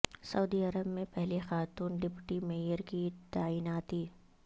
سعودی Arab میں پہلی خاتون ڈپٹی میئر کی تعیناتی